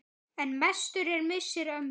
En mestur er missir ömmu.